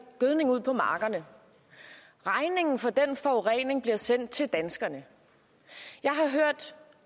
gødning ud på markerne regningen for den forurening bliver sendt til danskerne jeg har